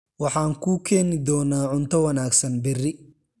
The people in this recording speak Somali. Waxaan kuu keeni doonaa cunto wanaagsan berri.